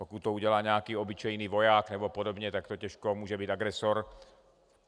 Pokud to udělá nějaký obyčejný voják nebo podobně, tak to těžko může být agresor.